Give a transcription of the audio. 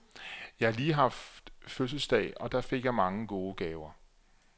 Jeg har lige haft fødselsdag, og der fik jeg mange gode gaver.